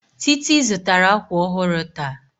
Titi zụtara akwa ọhụrụ taa